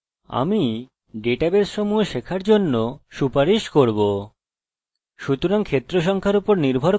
সুতরাং ক্ষেত্রের সংখ্যা এর উপর নির্ভর করে যে কত এবং কোন তথ্য আপনি রাখতে চান